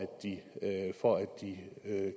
de